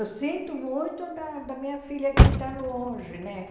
Eu sinto muito da da minha filha que está longe né,